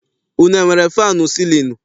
Unu enwere faanụ sịlịnụ?